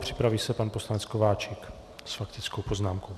Připraví se pan poslanec Kováčik s faktickou poznámkou.